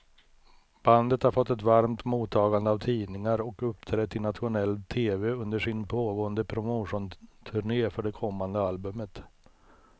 Bandet har fått ett varmt mottagande av tidningar och uppträtt i nationell tv under sin pågående promotionturné för kommande albumet.